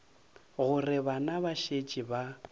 gore bana ba šetše ba